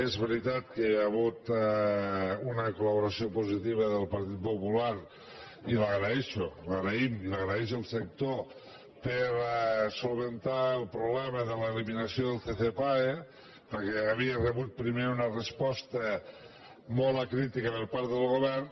és veritat que hi ha hagut una col·laboració positiva del partit popular i l’agraeixo l’agraïm i l’agraeix el sector per solucionar el problema de l’eliminació del ccpae perquè havia rebut primer una resposta molt acrítica per part del govern